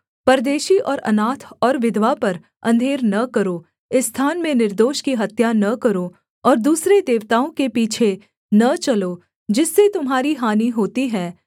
परदेशी और अनाथ और विधवा पर अंधेर न करो इस स्थान में निर्दोष की हत्या न करो और दूसरे देवताओं के पीछे न चलो जिससे तुम्हारी हानि होती है